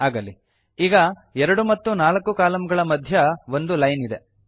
ಆಗಲಿ ಈಗ 2ಮತ್ತು 4 ಕಾಲಂಗಳ ಮಧ್ಯ ಒಂದು ಲೈನ್ ಇದೆ